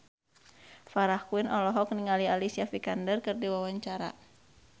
Farah Quinn olohok ningali Alicia Vikander keur diwawancara